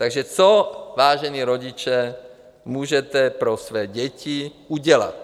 Takže co, vážení rodiče, můžete pro své děti udělat?